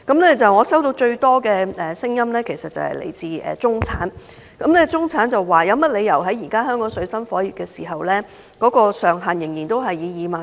我收到最多的聲音，其實是來自中產人士，他們質疑為何現時正當香港水深火熱，稅務寬免上限仍然維持2萬元。